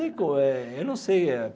Eu não sei.